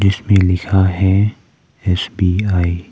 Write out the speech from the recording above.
इस पे लिखा है एस_बी_आई ।